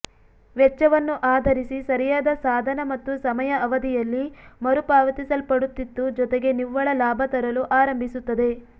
ವೆಚ್ಚವನ್ನು ಆಧರಿಸಿ ಸರಿಯಾದ ಸಾಧನ ಮತ್ತು ಸಮಯ ಅವಧಿಯಲ್ಲಿ ಮರುಪಾವತಿಸಲ್ಪಡುತ್ತಿತ್ತು ಜೊತೆಗೆ ನಿವ್ವಳ ಲಾಭ ತರಲು ಆರಂಭಿಸುತ್ತದೆ